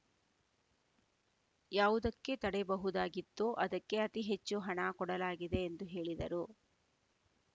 ಯಾವುದಕ್ಕೆ ತಡೆಯಬಹುದಾಗಿತ್ತೋ ಅದಕ್ಕೆ ಅತಿ ಹೆಚ್ಚು ಹಣ ಕೊಡಲಾಗಿದೆ ಎಂದು ಹೇಳಿದರು